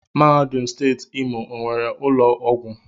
Mahadum Steeti Imo onwere ụlọ ọgwụ?